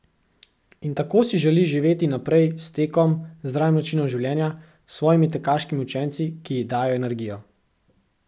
In tako si želi živeti naprej, s tekom, zdravim načinom življenja, s svojimi tekaškimi učenci, ki ji dajejo energijo.